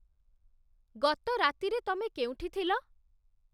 ଗତ ରାତିରେ ତମେ କେଉଁଠି ଥିଲ?